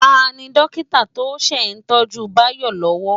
Táni Dòkitá tó n sé itòjú Bayo lòwò?